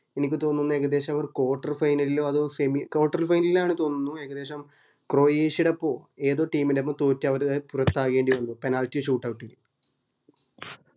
എനിക്ക് തോന്നുന്നു ഏകദേശം അവർ quarter final ലോ semi quarter final ലെനിന് ഏകദേശം കൊറേഷ്യേടെ ഓപ്പോ ഏതോ team ൻറെപ്പം തോറ്റ് പോറത്തകേണ്ടി വന്നു penalty shootout ൽ